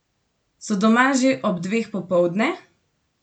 So doma že ob dveh popoldne?